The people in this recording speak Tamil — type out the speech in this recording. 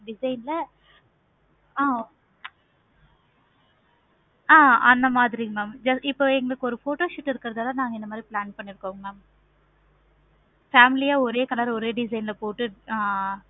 design ல ஆஹ் ஆஹ் அந்த மாதிரி mam இப்போ எங்களுக்கு ஒரு photoshoot இருக்குறனாள இந்த மாதிரி plan பண்ணிருக்கோம். mam family யா ஒரே color ல ஒரே design ல போட்டு